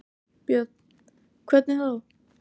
Björn: Hvernig þá?